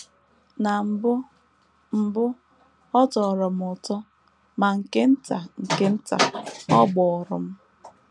Na mbụ mbụ, ọ tọrọ m ụtọ, ma nke nta nke nta ọ gbụrụ m.